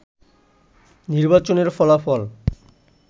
নির্বাচনের ফলাফল